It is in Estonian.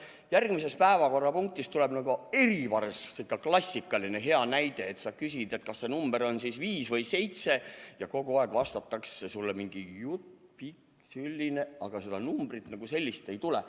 Järgmises päevakorrapunktis tuleb see klassikaline hea näide: sa küsid, kas see number on siis 5 või 7, ja kogu aeg aetakse sulle vastates mingit pikka juttu, aga seda numbrit kui sellist ei tule.